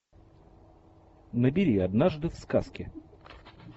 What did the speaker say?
набери однажды в сказке